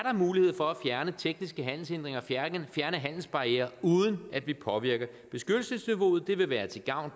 mulighed for at fjerne tekniske handelshindringer fjerne handelsbarrierer uden at vi påvirker beskyttelsesniveauet det vil være til gavn